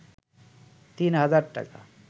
তিন হাজার টাকা